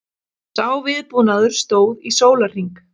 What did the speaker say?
Sá viðbúnaður stóð í sólarhring